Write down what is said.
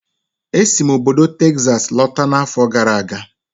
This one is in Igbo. E si m obodo Texas lọta n'afọ gara aga